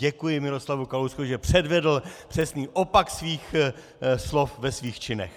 Děkuji Miroslavu Kalouskovi, že předvedl přesný opak svých slov ve svých činech.